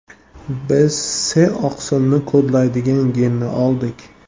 Biz S-oqsilni kodlaydigan genni oldik.